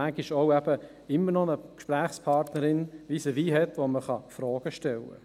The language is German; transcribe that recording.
Manchmal sollte man aber noch eine Gesprächspartnerin vis-à-vis haben, der man Fragen stellen kann.